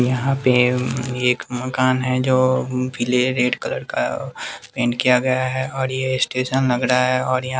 यहाँ पे एवं एक मकान है जो अम पीले रेड कलर का ए पेंट किया गया है और ये स्टेशन लग रहा है और यहाँ --